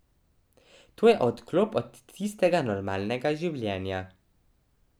To je odklop od tistega normalnega življenja.